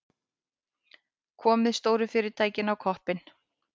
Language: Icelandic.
Komið stóru fyrirtæki á koppinn.